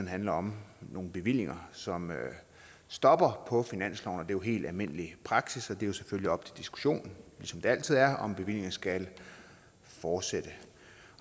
handler om nogle bevillinger som stopper på finansloven det er helt almindelig praksis og det er selvfølgelig op til diskussion som det altid er om bevillingerne skal fortsætte